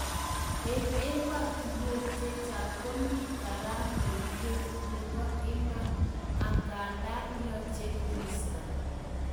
En emotunwek chechang komi karamet ngweny nebo iman angandan yoche kiisto